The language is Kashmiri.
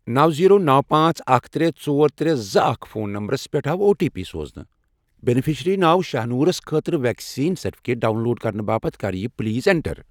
نو، زیٖرو، نو، پانژھ، اکھ، ترے، ژۄر، ترے، زٕ، اکھ فون نمبرَس پٮ۪ٹھ آو او ٹی پی سوزنہٕ۔ بینِفیشرِی ناو شاہنوٗرَس خٲطرٕ ویکسیٖن سرٹِفکیٹ ڈاؤن لوڈ کرنہٕ باپتھ کر یہِ پلیز ایٛنٹر۔